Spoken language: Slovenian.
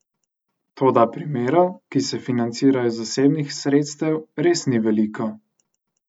Toda primerov, ki se financirajo iz zasebnih sredstev, res ni veliko.